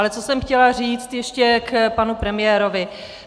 Ale co jsem chtěla říct ještě k panu premiérovi.